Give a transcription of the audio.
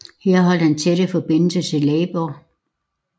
Her holdt han tætte forbindelser til Labour